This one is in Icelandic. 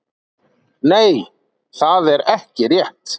Nei, það er ekki rétt.